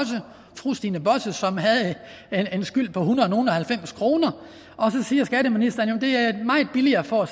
fru stine bosse som havde en skyld på et hundrede nogle og halvfems kroner og så siger skatteministeren at det er meget billigere for